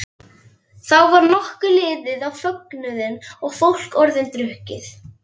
Þá var nokkuð liðið á fögnuðinn og fólk orðið drukkið.